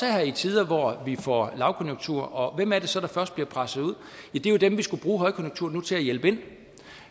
her i tider hvor vi får lavkonjunktur og hvem er det så der først bliver presset ud ja det er jo dem vi skulle bruge højkonjunkturen nu til at hjælpe ind